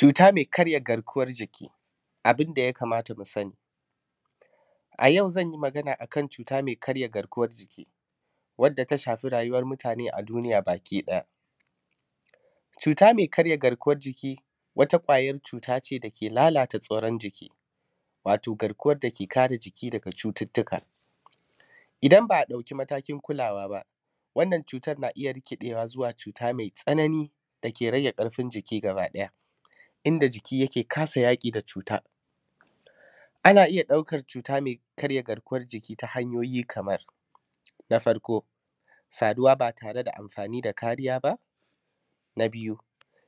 Cuutar mai karya garkuwar jiki abin da ya kamata mu sani a yau, zan yi magana akan cuuta mai karya garkuwar jiki wadda ta shafi rayuwar mutaane a duniya baki ɗaya. Cuuta mai karya garkuwar jiki wata ƙwayar cuuta ce da ke lalata tsoron jiki wato garkuwar da ke kare jiki daga cututtuka, idan ba a ɗauki matakin kulawa ba wannan cuutar na iya rikiɗeewa zuwa cuuta mai tsanani da ke rage ƙarfin jiki gabaɗaya, inda jiki yake kasa yaƙi da cuutar. Ana iya ɗaukar cuuta mai karya garkuwar jiki ta hanyoyi kamar; na farko saduwa ba tare da amfaani da kariya ba, na biyu